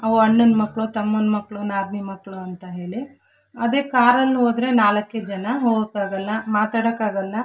ಅವು ಅಣ್ಣನ್ನ ಮಕ್ಕಳು ತಮ್ಮನ್ನ ಮಕ್ಕಳು ನಾದ್ನಿ ಮಕ್ಕಳು ಅಂತ ಹೇಳಿ ಅದೆ ಕಾರ್ ಅಲ್ ಹೋದ್ರೆ ನಾಲಕ್ಕೆ ಜನ ಹೋಗೋಕ್ಕಾಗಲ್ಲಾ ಮಾತಾಡಕ್ಕಾಗಲ್ಲಾ.